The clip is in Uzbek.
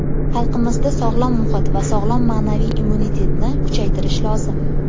Xalqimizda sog‘lom muhit va sog‘lom ma’naviy immunitetni kuchaytirish lozim.